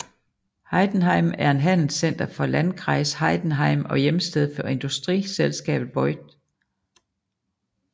Heidenheim er handelscenter for Landkreis Heidenheim og hjemsted for industriselskabet Voith